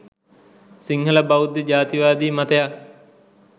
සිංහල බෞද්ධ ජාතිවාදී මතයක්